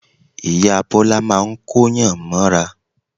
Ìyá Bọ́lá máa ń Kóyàn mọ́ra